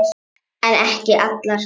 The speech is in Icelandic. En ekki allar.